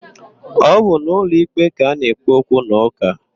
Ọ bụ n'ụlọikpe ka ana-ekpe okwunaụka.